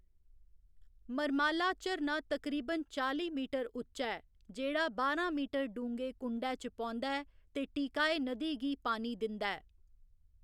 मरमाला झरना तकरीबन चाली मीटर उच्चा ऐ, जेह्‌‌ड़ा बारां मीटर डूंह्‌गे कुंडै च पौंदा ऐ ते टीकाय नदी गी पानी दिंदा ऐ।